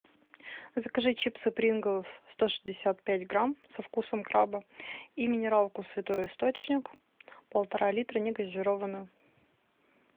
закажи чипсы принглс сто шестьдесят пять грамм со вкусом краба и минералку святой источник полтора литра негазированную